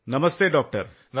Namaste doctor.